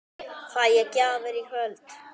Fæ ég gjafir í kvöld?